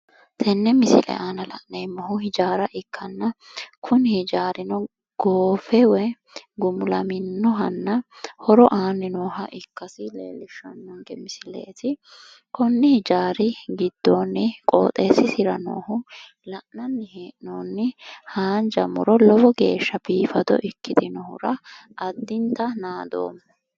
Tenne misile aana la'neemmohu hijaara ikkanna kuni hijaarino goofe woyi gumulaminnohanna horo aanni nooha ikkadi leellishshanno misileeti. Konni hijaari giddoonni qooxeessisira noohu la'nanni hee'noonni haanja muro lowo geeshsha biifado ikkitinohura addinta naadoomma.